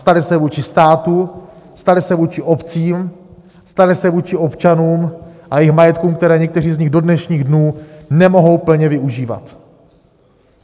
Staly se vůči státu, staly se vůči obcím, staly se vůči občanům a jejich majetkům, které někteří z nich do dnešních dnů nemohou plně využívat.